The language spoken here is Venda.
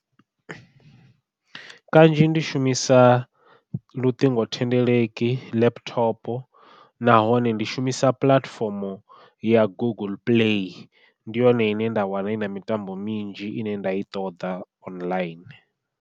Kanzhi ndi shumisa luṱingo thendeleki, laptop nahone ndi shumisa puḽatifomo ya google play ndi yone ine nda wana ina mitambo minzhi ine nda i ṱoḓa online.